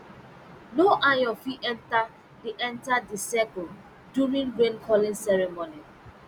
no iron fit enter the enter the circle during rain calling ceremony